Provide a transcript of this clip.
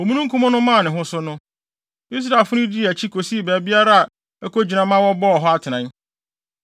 Omununkum no maa ne ho so no, Israelfo no dii akyi kosii baabiara a ɛkɔ kogyina ma wɔbɔɔ hɔ atenae.